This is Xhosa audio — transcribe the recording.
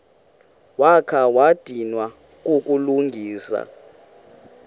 wakha wadinwa kukulungisa